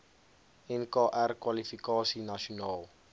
nkr kwalifikasie nasionaal